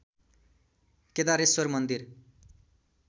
केदारेश्वर मन्दिर